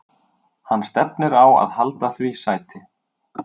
Hann stefnir á að halda því sæti.